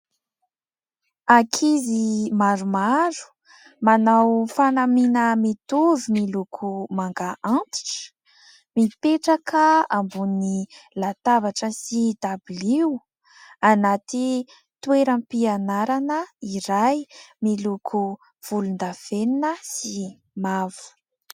Ankizy maromaro manao fanamiana mitovy miloko manga antitra mipetraka ambon'ny latabatra sy dabilio anaty toeram-pianarana iray miloko volondavenina sy mavo.